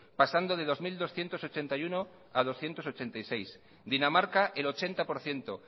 pasando de dos mil doscientos ochenta y uno a berrehun eta laurogeita sei dinamarca el ochenta por ciento